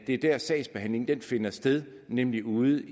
er der sagsbehandlingen finder sted nemlig ude